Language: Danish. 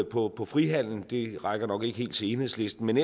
på på frihandel og det rækker nok ikke helt til enhedslisten